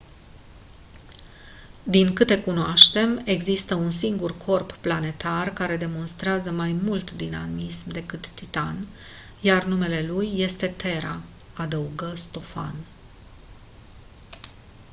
din câte cunoaștem există un singur corp planetar care demonstrează mai mult dinamism decât titan iar numele lui este terra adăugă stofan